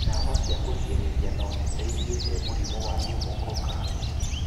Ndawa cia kũrigĩrĩria no citeithie he mũrimũ wa pneumococcal.